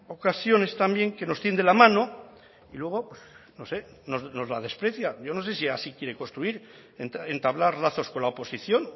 ocasiones también que nos tiende la mano y luego no sé nos la desprecia yo no sé si así quiere construir entablar lazos con la oposición